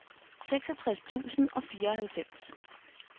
seksogtres tusind og fireoghalvfems